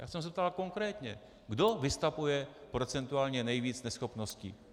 Já jsem se ptal konkrétně, kdo vystavuje procentuálně nejvíc neschopností?